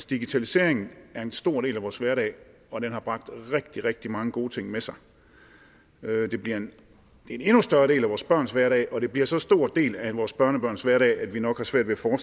digitaliseringen er en stor del af vores hverdag og den har bragt rigtig rigtig mange gode ting med sig den bliver en endnu større del af vores børns hverdag og den bliver en så stor del af vores børnebørns hverdag at vi nok har svært ved at